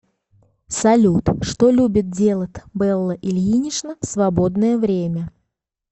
салют что любит делат белла ильинична в свободное время